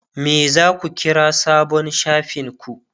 me zaku kira sabon shafin ku?